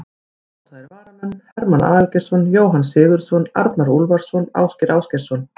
Ónotaðir varamenn: Hermann Aðalgeirsson, Jóhann Sigurðsson, Arnar Úlfarsson, Ásgeir Ásgeirsson.